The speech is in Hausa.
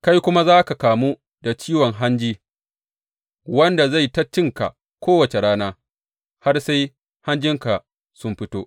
Kai kuma za ka kamu da ciwon hanji wanda zai yi ta cinka kowace rana sai har hanjinka sun fito.’